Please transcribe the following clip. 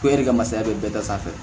e yɛrɛ ka masaya bɛ bɛɛ da sanfɛ